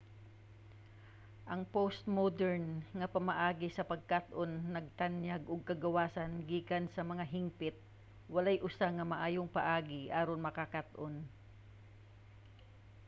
ang postmodern nga pamaagi sa pagkat-on nagtanyag og kagawasan gikan sa mga hingpit. walay usa nga maayong paagi aron makakat-on